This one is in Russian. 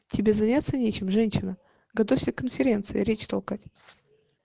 тебе заняться нечем женщина готовься к конференции речь толкать